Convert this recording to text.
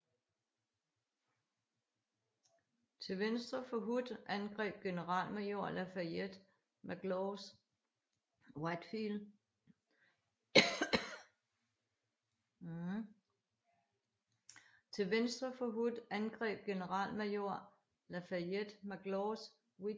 Til venstre for Hood angreb generalmajor Lafayette McLaws Wheatfield og Peach Orchard